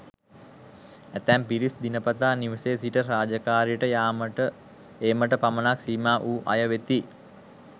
ඇතැම් පිරිස් දිනපතා නිවසේ සිට රාජකාරියට යාමට ඒමට පමණක් සීමා වූ අය වෙති.